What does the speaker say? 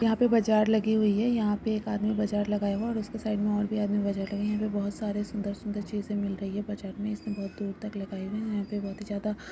यहां पे बाजार लगी हुई है। यहां पे एक आदमी बाजार लगाया। और उसके साइड में और भी आदमी बाजार लगाया है यहां पे बहुत सारे सुंदर-सुंदर चीज मिल रही है। बाजार में इसमें बहुत दूर तक लगाई हुई है। यहां पे बहुत ही ज्यादा --